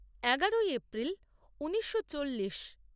এগারোই এপ্রিল ঊনিশো চল্লিশ